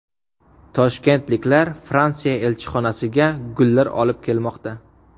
Toshkentliklar Fransiya elchixonasiga gullar olib kelmoqda.